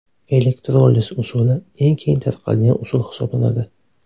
Elektroliz usuli eng keng tarqalgan usul hisoblanadi.